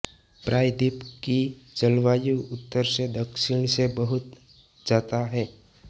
प्रायद्वीप की जलवायु उत्तर से दक्षिण से बहुत जाता है